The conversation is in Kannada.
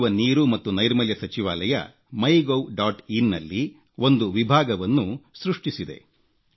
ಕುಡಿಯುವ ನೀರು ಮತ್ತು ನೈರ್ಮಲ್ಯ ಸಚಿವಾಲಯ ಮೈಗೌ ಡಾಟ್ ಇನ್ ನಲ್ಲಿ ಒಂದು ವಿಭಾಗವನ್ನು ಸೃಷ್ಟಿಸಿದೆ